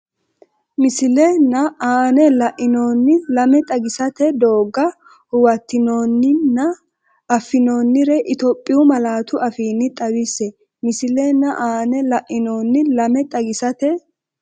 Misile nna aana la’inoonni lame xagisate doogga huwattinoon- ninna affinoonnire Itophiyu malaatu afiinni xawisse Misile nna aana la’inoonni lame xagisate.